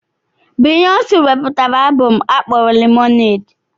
Biyonsi wepụtara abom akpọrọ 'Lemonade'.